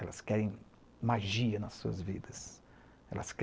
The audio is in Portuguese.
Elas querem magia nas suas vidas.